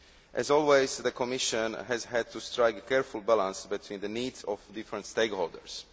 As always, the Commission has had to strike a careful balance between the needs of different stakeholders.